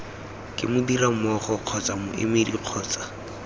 ke modirimmogo kgotsa moemedi kgotsa